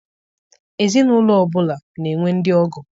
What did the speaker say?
Ezinaụlọ ọbụla na-enwe ndị ọgọ.